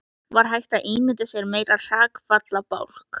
Var hægt að ímynda sér meiri hrakfallabálk?